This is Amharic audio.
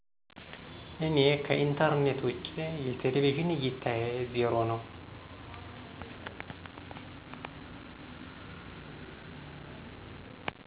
እኔ ከኢንተርኔት ውጭ የቴሌቪዥን እይታየ 0 ነው